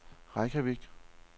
Reykjavik